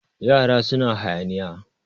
yara suna hayaniya